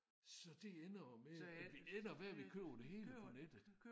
Så det ender jo med at det ender med at vi køber det hele på nettet